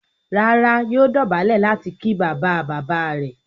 Rárá, yóò dọ̀bálẹ̀ láti ki bàbáabàbáa rẹ̀.